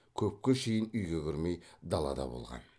көпке шейін үйге кірмей далада болған